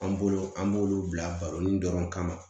An bolo an b'olu bila baro ni dɔrɔn kama